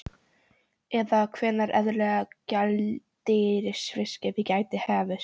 Eða hvenær eðlileg gjaldeyrisviðskipti geti hafist?